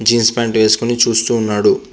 Jeans pant వేసుకొని చూస్తూ ఉన్నాడు.